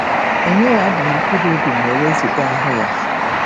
E nyeghị Adam mkpụrụ obi ma e wezụga ahụ́ ya.